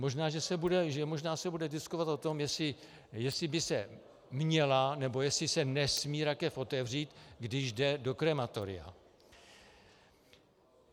Možná se bude diskutovat o tom, jestli by se měla, nebo jestli se nesmí rakev otevřít, když jde do krematoria.